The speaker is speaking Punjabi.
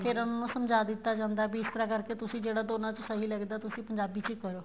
ਫ਼ੇਰ ਉਹਨਾ ਨੂੰ ਸਮਝਾ ਦਿੱਤਾ ਜਾਂਦਾ ਹੈ ਵੀ ਇਸ ਤਰ੍ਹਾਂ ਕਰਕੇ ਤੁਸੀਂ ਜਿਹੜਾ ਦੋਨਾਂ ਚੋ ਸਹੀਂ ਲੱਗਦਾ ਏ ਤੁਸੀਂ ਪੰਜਾਬੀ ਚ ਹੀ ਕਰੋ